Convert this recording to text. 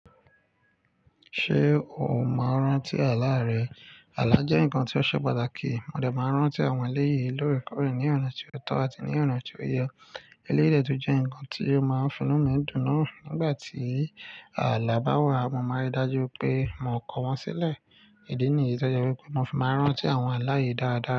Ṣé o máa ń rántí àlá rẹ? Àlá jẹ́ nǹkan tí ó ṣe pàtàkì. Mo dẹ̀ máa ń rántí àwọn eléyìí lórí Ìkọ́rẹ̀ẹ́ ní ọ̀nà tí ó tọ́ àti ní ọ̀nà tí ó yẹ. Eléyìí dẹ̀ tún jẹ́ nǹkan tí ó máa ń fi inú mi dùn. Nígbà tí àlá bá wà, mo máa ń rí i dájú pé mo kọ wọ́n sílẹ̀. Ìdí nìyí tọ́jú wípé mo sì máa ń rántí àwọn àlá yìí dáadáa.